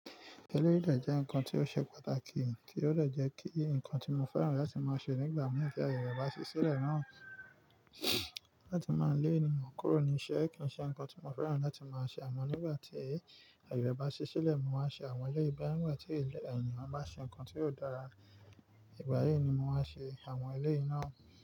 Éléyì dé jẹ́ ǹkan tí ó ṣe pàtàkì, tí ó de jẹ́ kí ǹkan tí mo fẹ́ràn láti máa ṣe nígbà mìí tí ayẹ rẹ bá ṣí sílẹ̀ náà láti máa lè ènìyàn kórò ní iṣẹ́ kì í ṣe ǹkan tí mo fẹ́ràn láti máa ṣe àmọ́ nígbà tí ayẹ rẹ bá ṣí sílẹ̀, mo máa ṣe àwọn eléyi bóyá nígbà tí ènìyàn bá ṣe ǹkan tí ó dára, ìgbà yìí ni mo máa ṣe àwọn eléyi ná.